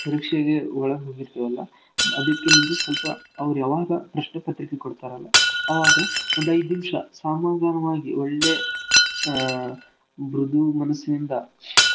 ಆಮೇಲೆ ಪರೀಕ್ಷೆಗೆ ಒಳಗ್ ಹೋಗಿರ್ತೇವಲ್ಲಾ ಅದ್ಕೆ ಮುಂಚೆ ಸ್ವಲ್ಪ ಅವ್ರ ಯಾವಾಗ ಪ್ರಶ್ನೇ ಪತ್ರಿಕೆ ಕೊಡ್ತಾರಲ್ಲಾ ಅವಾಗ ಒಂದೈದ್ನಿಮಿಷ ಸಮಾಧಾನವಾಗಿ ಒಳ್ಳೇ ಅ ಬೃದು ಮನಸಿನಿಂದಾ .